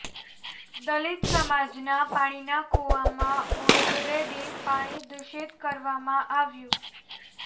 દલિત સમાજના પાણીના કૂવામાં ઓઈલ રેડી પાણી દૂષિત કરવામાં આવ્યું